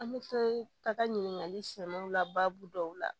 An bɛ to ka taa ɲininkali sɛmɛw la baabu dɔw la